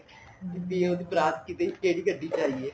ਵੀ ਉਹਦੀ ਬਰਾਤ ਵਿੱਚ ਕਿਹੜੀ ਗੱਡੀ ਚ ਆਈ ਏ